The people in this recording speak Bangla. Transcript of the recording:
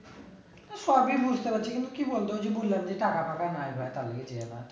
সবই বুঝতে পারছি কিন্তু কি বল তো যে বললাম যে টাকা ফাঁকা নাই ভাই